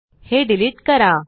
हे डिलिट करा